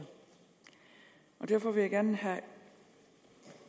og derfor vil jeg gerne